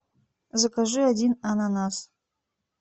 закажи один ананас